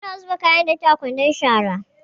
Muna zuba kayan datti a kwandon shara.